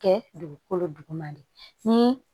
Kɛ dugukolo duguma de ni